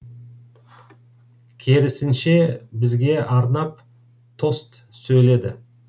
керісінше бізге арнап тост сөйледі